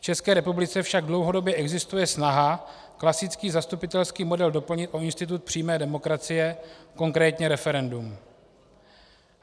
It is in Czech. V České republice však dlouhodobě existuje snaha klasický zastupitelský model doplnit o institut přímé demokracie, konkrétně referendum.